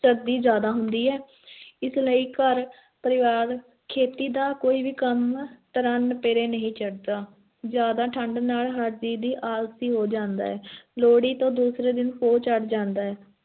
ਸਰਦੀ ਜ਼ਿਆਦਾ ਹੁੰਦੀ ਹੈ ਇਸ ਲਈ ਘਰ-ਪਰਿਵਾਰ, ਖੇਤੀ ਦਾ ਕੋਈ ਵੀ ਕੰਮ ਤਰ੍ਹਾਂ ਨੇਪਰੇ ਨਹੀਂ ਚੜ੍ਹਦਾ, ਜ਼ਿਆਦਾ ਠੰਢ ਨਾਲ ਹਰ ਜੀਅ ਵੀ ਆਲਸੀ ਹੋ ਜਾਂਦਾ ਹੈ ਲੋਹੜੀ ਤੋਂ ਦੂਸਰੇ ਦਿਨ ਪੋਹ ਚੜ੍ਹ ਜਾਂਦਾ ਹੈ।